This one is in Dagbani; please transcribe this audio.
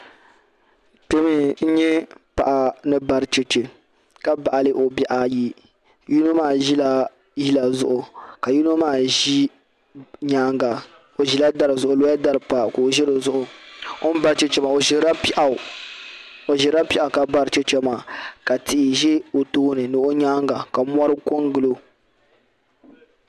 Kpe n nyɛ paɣa ni bari cheche ka baɣili obihi ayi yinɔmaa zila yila zuɣu ka yinɔ maa zi nyaaŋa oazila dari zuɣu olola dari pa ka ozidi zuɣu ozirila pɛɣu kabari cheche maa ka tii zɛ onyaaŋga ka mɔri kon gili.